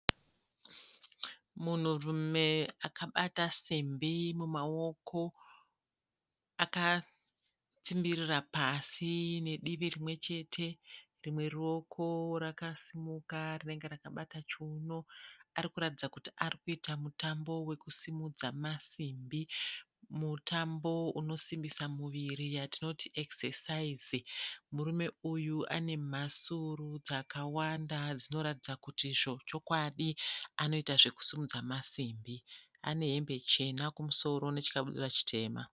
Munhu rume akabata simbi mumaoko akastimbirira pasi nedivi rimwe chete rimwe ruoko rakasimuka rinenge rakabata chiuno. Arikuratidza kuti arikuita mutambo wekusimudza masimbi, mutambo unosimbisa muviri yatinoti ekisesaizi. Murume uyu anemhasuru dzakawanda dzinoratidza kuti zvochokwadi anoita zvekusimudza masimbi. Anehembe chena kumusoro nechikabudura chitema.